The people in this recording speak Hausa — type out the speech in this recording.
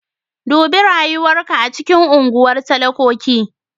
Dubi rayuwar ka a cikin unguwar talakoki.